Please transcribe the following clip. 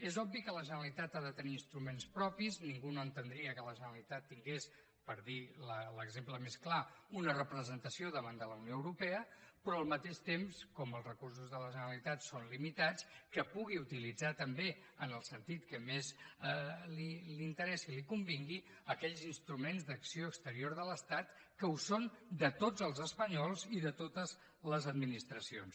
és obvi que la generalitat ha de tenir instruments propis ningú no entendria que la generalitat tingués per dir ne l’exemple més clar una representació davant de la unió europea però al mateix temps com els recursos de la generalitat són limitats que pugui utilitzar també en el sentit que més li interessi i li convingui aquells instruments d’acció exterior de l’estat que ho són de tots els espanyols i de totes les administracions